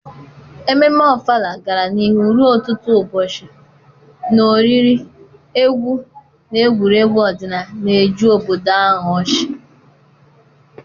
Ememme Ofala gara n’ihu ruo ọtụtụ ụbọchị, na oriri, egwu, na egwuregwu ọdịnala na-eju obodo ahụ ọchị.